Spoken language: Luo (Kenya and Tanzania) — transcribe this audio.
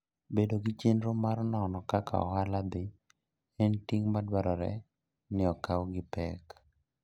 Bedo gi chenro mar nono kaka ohala dhi, en ting ' madwarore ni okaw gi pek.